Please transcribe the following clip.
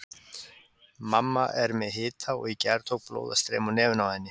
Mamma er með hita og í gær tók blóð að streyma úr nefinu á henni.